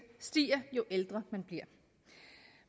stiger jo ældre man bliver